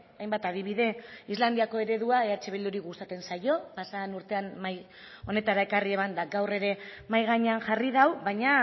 hainbat adibide islandiako eredua eh bilduri gustatzen zaio pasadan urtean mahai honetara ekarri eban eta gaur ere mahai gainean jarri du baina